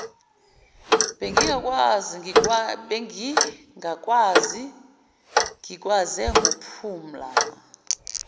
bengingakwazi ngikwaze ngophumla